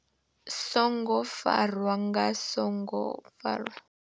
songo farwa nga, songo farwa.